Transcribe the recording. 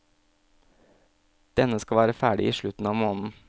Denne skal være ferdig i slutten av måneden.